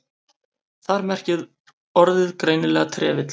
Þar merkir orðið greinilega trefill.